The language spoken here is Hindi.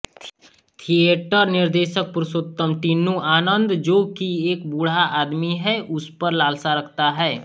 थिएटर निर्देशक पुरुषोत्तम टिन्नू आनन्द जो कि एक बूढ़ा आदमी है उसपर लालसा रखता है